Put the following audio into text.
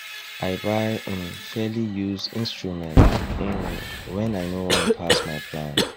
i buy um fairly used instruments um wen i no wan pass my plan